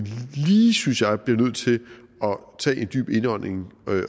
lige synes jeg bliver nødt til at tage en dyb indhegning